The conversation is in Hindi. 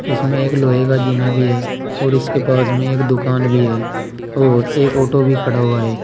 इसमें एक लोहे का जीना भी है और इसके पास में एक दुकान भी है और एक ऑटो भी खड़ा हुआ है।